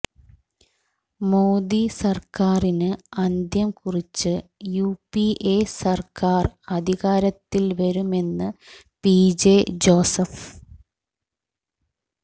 മോദി സർക്കാരിന് അന്ത്യം കുറിച്ച് യു പി എ സർക്കാർ അധികാരത്തിൽ വരുമെന്ന് പി ജെ ജോസഫ്